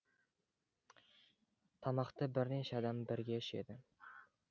тамақты бірнеше адам бірге ішеді